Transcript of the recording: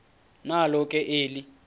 nalo ke eli